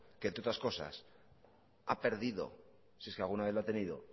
que entre otras cosas ha perdido no sé si alguna vez lo ha tenido